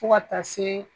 Fo ka taa se